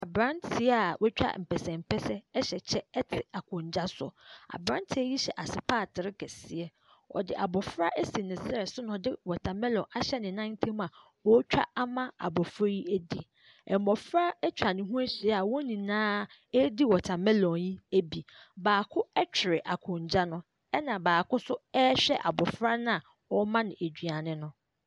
Abranteɛ a woatwa mpɛsɛmpɛsɛ ɛhyɛ kyɛ ɛte akondwa so abranteɛ yi hyɛ asepaatere kɛseɛ ɔde abofra asi ne srɛ so na ɔde wɔta melɔn ahyɛ nenanntam a ɔtwa ama abɔfra yi adi mmɔfra atwa ne ho ahyia a wɔn nyinaa edi wɔta melɔn yi bi baako ɛtwere akondwa no ɛna baako so ɛhwɛ abɔfra na ɔma no aduane no.